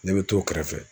Ne bɛ t'o kɛrɛfɛ